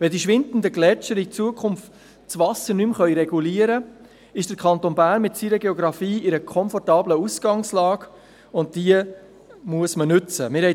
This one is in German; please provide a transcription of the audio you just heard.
Wenn die schwindenden Gletscher in Zukunft das Wasser nicht mehr regulieren können, ist der Kanton Bern mit seiner Geografie in einer komfortablen Ausgangslage, die man nutzen muss.